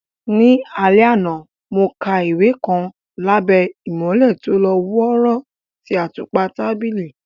Ní alẹ́ àná, mo ka ìwé kan lábẹ́ ìmọ́lẹ̀ tó lọ́ wọ́ọ́rọ́ ti àtùpà tábìlì.